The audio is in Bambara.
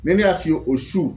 ne y'a f'i ye o su